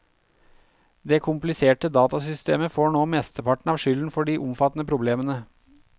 Det kompliserte datasystemet får nå mesteparten av skylden for de omfattende problemene.